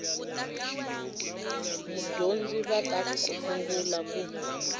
vadyondzi va ta sungula ku